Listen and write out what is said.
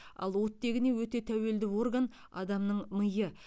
ал оттегіне өте тәуелді орган адамның миы